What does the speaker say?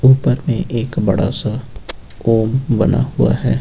ऊपर में एक बड़ा सा ओम बना हुआ है।